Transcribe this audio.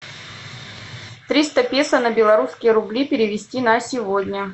триста песо на белорусские рубли перевести на сегодня